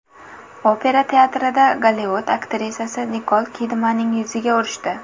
Opera teatrida Gollivud aktrisasi Nikol Kidmanning yuziga urishdi.